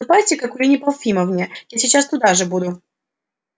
ступайте к акулине памфиловне я сейчас туда же буду